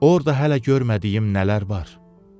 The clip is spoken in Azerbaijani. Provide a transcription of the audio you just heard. Orda hələ görmədiyim nələr var?